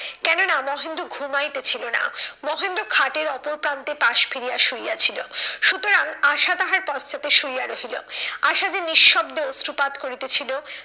কেননা মহেন্দ্র ঘুমাইতেছিল না মহেন্দ্র খাটের ওপর প্রান্তে পাশ ফিরিয়া শুইয়া ছিল। সুতরাং আশা তাহার পশ্চাতে শুইয়া রহিল। আশা যে নিঃশব্দে অশ্রুপাত করিতেছিল,